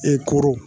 E koro